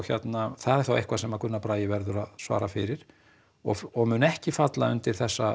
það er þá eitthvað sem Gunnar Bragi verður að svara fyrir og mun ekki falla undir þessa